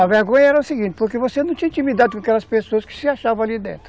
A vergonha era o seguinte, porque você não tinha intimidade com aquelas pessoas que se achavam ali dentro.